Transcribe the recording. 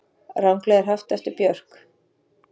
Ranglega haft eftir Björk